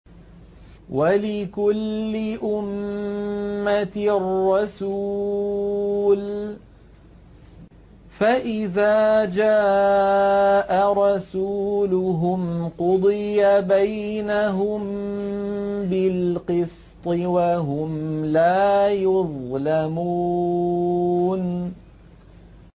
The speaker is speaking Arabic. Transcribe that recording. وَلِكُلِّ أُمَّةٍ رَّسُولٌ ۖ فَإِذَا جَاءَ رَسُولُهُمْ قُضِيَ بَيْنَهُم بِالْقِسْطِ وَهُمْ لَا يُظْلَمُونَ